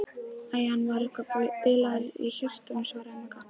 Æ, hann var eitthvað bilaður í hjartanu svaraði Magga.